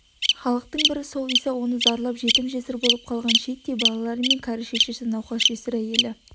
халықтың бірі сол иса оның зарлап жетім-жесір болып қалған шиеттей балалары мен кәрі шешесі науқас жесір әйелі